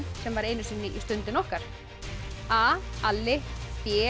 sem var einu sinni í Stundinni okkar a Alli b